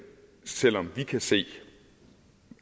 selv om vi kan se